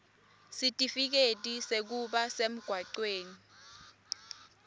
sitifiketi sekuba semgwaceni